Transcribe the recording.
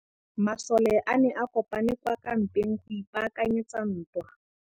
Masole a ne a kopane kwa kampeng go ipaakanyetsa ntwa.